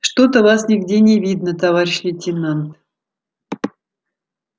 что то вас нигде не видно товарищ лейтенант